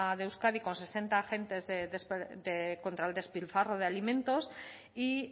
de euskadi con sesenta agentes contra el despilfarro de alimentos y